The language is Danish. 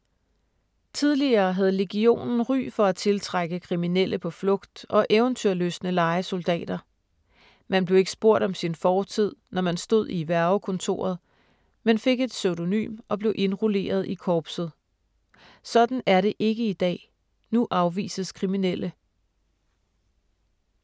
Tidligere havde legionen ry for at tiltrække kriminelle på flugt og eventyrlystne lejesoldater. Man blev ikke spurgt om sin fortid, når man stod i hvervekontoret, men fik et pseudonym og blev indrulleret i korpset. Sådan er det ikke i dag, nu afvises kriminelle.